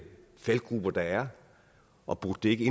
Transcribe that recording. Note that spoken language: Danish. faldgruber der er og burde det ikke